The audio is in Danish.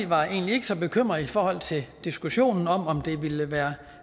var egentlig ikke så bekymret i forhold til diskussionen om om det ville være